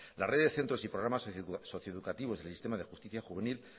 la red de centros y programas socio educativos del sistema de justicia juvenil